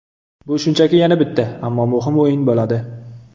Bu shunchaki yana bitta, ammo muhim o‘yin bo‘ladi.